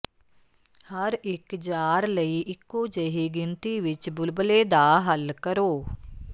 ਹਰ ਇੱਕ ਜਾਰ ਲਈ ਇੱਕੋ ਜਿਹੀ ਗਿਣਤੀ ਵਿੱਚ ਬੁਲਬੁਲੇ ਦਾ ਹੱਲ ਕਰੋ